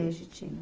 Legitima.